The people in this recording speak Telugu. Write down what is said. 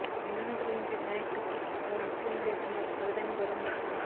విఘ్నాలను తొలగించే వినాయకుడికి ఓ ముస్లిం దేశంలో అరుదైన గౌరవం దక్కింది